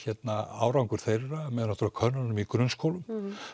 árangur þeirra með náttúrulega könnunum í grunnskólum